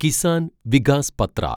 Kisan Vikas Patra